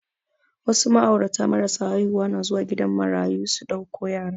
Wasu ma'aurata marasa haihuwa na zuwa gidan marayu su ɗauko yara